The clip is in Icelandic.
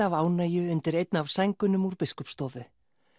af ánægju undir einni af sængunum úr Biskupsstofu